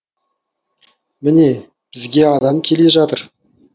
міне бізге адам келе жатыр